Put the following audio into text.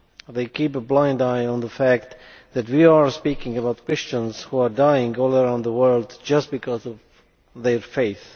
They turn a blind eye to the fact that we are speaking about Christians who are dying all around the world just because of their faith.